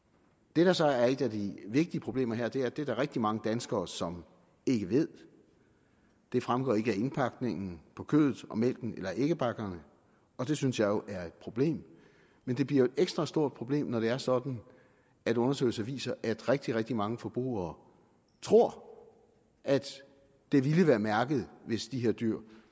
det der så er et af de vigtige problemer her er at det er der rigtig mange danskere som ikke ved det fremgår ikke af indpakningen på kødet og mælken eller æggebakkerne og det synes jeg jo er et problem men det bliver et ekstra stort problem når det er sådan at undersøgelser viser at rigtig rigtig mange forbrugere tror at det ville være mærket hvis de her dyr